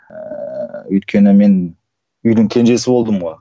ыыы өйткені мен үйдің кенжесі болдым ғой